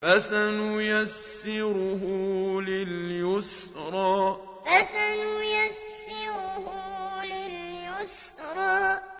فَسَنُيَسِّرُهُ لِلْيُسْرَىٰ فَسَنُيَسِّرُهُ لِلْيُسْرَىٰ